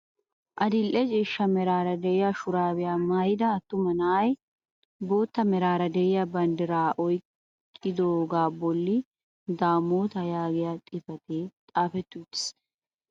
Adil'e ciishsha meraara de'iyaa shurabiyaa maayida attuma yelaga na'ay bootta meraara de'iyaa banddiraa oyqqidooga bolli damootaa yaagiyaa xifatee xaafetti uttiis.